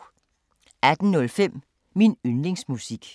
18:05: Min yndlingsmusik